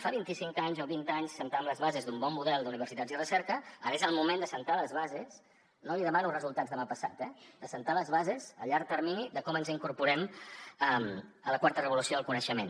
fa vint i cinc anys o vint anys assentàvem les bases d’un bon model d’universitats i recerca ara és el moment d’assentar les bases no li demano resultats demà passat eh d’assentar les bases a llarg termini de com ens incorporem a la quarta revolució del coneixement